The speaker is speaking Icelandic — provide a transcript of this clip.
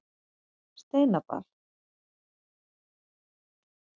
Steinadal